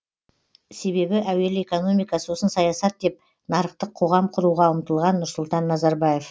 себебі әуелі экономика сосын саясат деп нарықтық қоғам құруға ұмтылған нұрсұлтан назарбаев